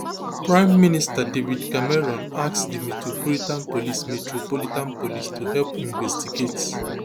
prime minister david cameron ask di metropolitan police metropolitan police tohelp investigate